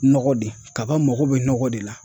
Nɔgɔ de kaba mago bɛ nɔgɔ de la.